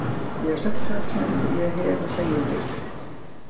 Ég hef sagt það sem ég hef að segja um leikinn.